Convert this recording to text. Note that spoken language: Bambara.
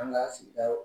An ka sigida